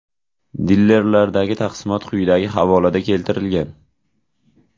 Dilerlardagi taqsimot quyidagi havolada keltirilgan: .